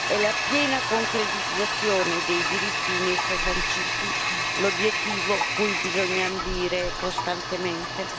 È la piena concretizzazione dei diritti in essa sanciti l'obiettivo cui bisogna ambire costantemente.